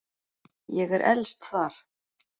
Ég er elst þar.